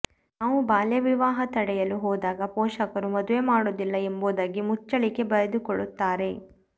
ನಾವು ಬಾಲ್ಯ ವಿವಾಹ ತಡೆಯಲು ಹೋದಾಗ ಪೋಷಕರು ಮದುವೆ ಮಾಡುವುದಿಲ್ಲ ಎಂಬುದಾಗಿ ಮುಚ್ಚಳಿಕೆ ಬರೆದುಕೊಡುತ್ತಾರೆ